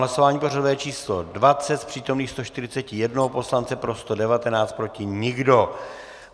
Hlasování pořadové číslo 20, z přítomných 141 poslance pro 119, proti nikdo.